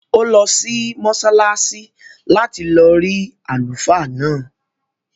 Ó lọ sí mọ́sálásí láti lọ rí àlùfáà náà